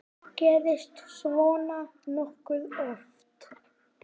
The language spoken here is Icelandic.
Gerist svona nokkuð oft?